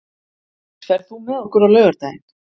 Andrés, ferð þú með okkur á laugardaginn?